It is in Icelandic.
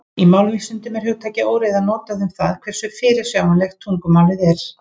Í málvísindum er hugtakið óreiða notað um það hversu fyrirsjáanlegt tungumálið er.